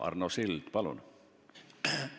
Arno Sild, palun!